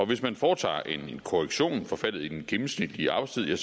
hvis man foretager en korrektion for faldet i den gennemsnitlige arbejdstid er